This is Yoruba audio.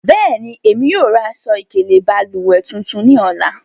Bẹẹni, emi yóò ra aṣọ-ikele balùwẹ tuntun ni ọla.